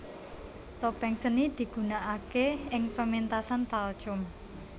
Topeng seni digunakake ing pementasan talchum